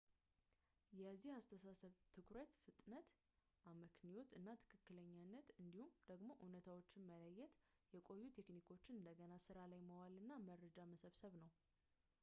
የዚህ አስተሳሰብ ትኩረት ፍጥነት አመክንዮ እና ትክክለኛነት እንዲሁም ደግሞ እውነታዎችን መለየት የቆዩ ቴክኒኮችን እንደገና ስራ ላይ ማዋል እና መረጃ መሰብሰብ ነው